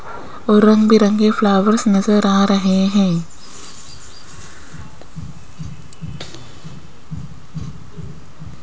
और रंग बिरंगे फ्लावर्स नजर आ रहे हैं।